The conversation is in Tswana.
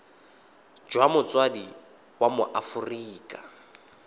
jwa motsadi wa mo aforika